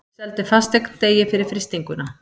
Seldi fasteign degi fyrir frystinguna